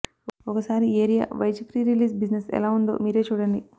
ఒకసారి area wise pre release business ఎలా ఉందొ మీరే చూడండి